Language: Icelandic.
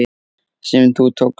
sem þú tókst.